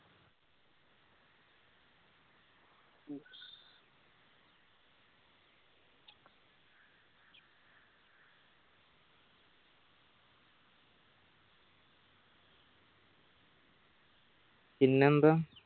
പിന്നെന്താ